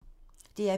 DR P3